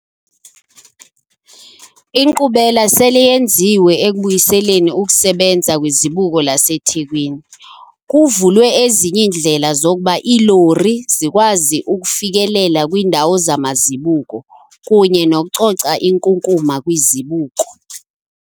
Inkqubela sele yenziwe ekubuyiseleni ukusebenza kwiZibuko laseThekwini, kuvulwe ezinye iindlela zokuba iilori zikwazi ukufikelela kwiindawo zamazibuko kunye nokucoca inkunkuma kwizibuko.